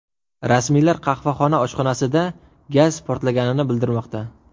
Rasmiylar qahvaxona oshxonasida gaz portlaganini bildirmoqda.